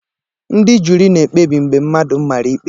Ndị juri na-ekpebi mgbe mmadụ mara ikpe